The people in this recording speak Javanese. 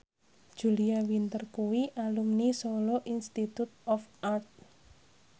Julia Winter kuwi alumni Solo Institute of Art